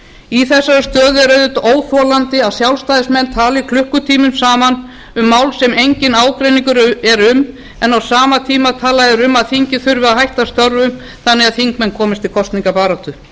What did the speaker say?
í þessari stöðu er auðvitað óþolandi að sjálfstæðismenn tali klukkutímum saman um mál sem enginn ágreiningur er um en á sama tíma tala þeir um að þingið þurfi að hætta störfum þannig að þingmenn komist til kosningabaráttu